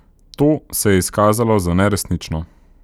To se je izkazalo za neresnično.